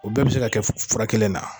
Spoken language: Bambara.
O bɛɛ bi se ka kɛ fura kelen na.